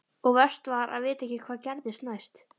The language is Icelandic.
Og verst var að vita ekkert hvað gerðist næst.